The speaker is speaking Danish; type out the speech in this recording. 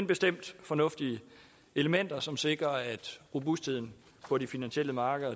bestemt fornuftige elementer som sikrer at robustheden på de finansielle markeder